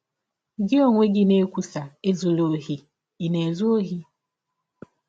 Gị ọnye na - ekwụsa ‘ Ezụla ọhi, ’ ị̀ na - ezụ ọhi? ”